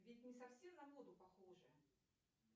ведь не совсем на воду похоже